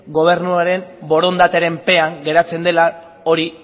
gobernuaren borondatearen pean geratzen dela hori